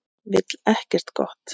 Vill ekkert gott.